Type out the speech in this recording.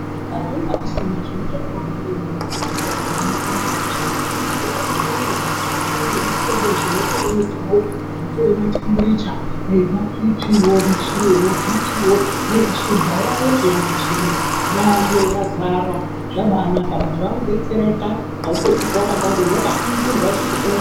Kare inga kusina zviro zvakawanda maningi zvokuti vantu vadetsereke ndizvona zvekuningirwa mumwiri zvakadai ngematemburicha themometawo anotore matemburicha nemabhipiwo muchini yemabhipiwo neye shuga yayo peyani muchini iyi yayo yazara zvabanaka vantu vakubetsereka unobaringirwa cheshe chino.